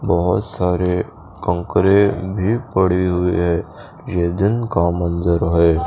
बहुत सारे कन्करे भी पड़ी हुए है ये दिन का मंजरा है।